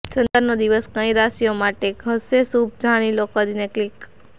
શનિવારનો દિવસ કઈ કઈ રાશિઓ માટે હશે શુભ જાણી લો કરીને ક્લિક